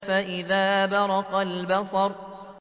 فَإِذَا بَرِقَ الْبَصَرُ